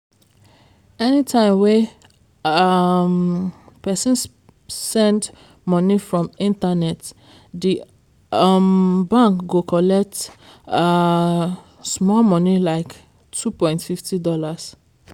anytime wey um person send money from internet di um bank go collect um small money like two point fifty dollars